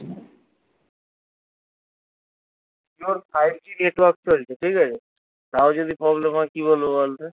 জিওর five g network চলছে ঠিক আছে তও যদি problem হয় কি বলবো বলতো